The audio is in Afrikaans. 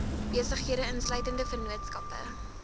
besighede insluitende vennootskappe